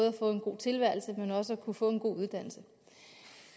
at få en god tilværelse men også til at kunne få en god uddannelse